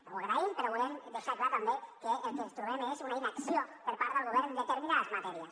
ho agraïm però volem deixar clar també que el que ens trobem és una inacció per part del govern en determinades matèries